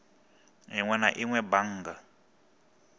inwe na inwe a bannga